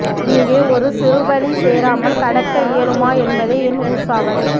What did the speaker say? இங்கே ஒரு சிறுபழி சேராமல் கடக்க இயலுமா என்பதே என் உசாவல்